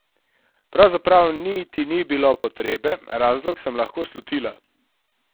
Pravzaprav niti ni bilo potrebe, razlog sem lahko slutila.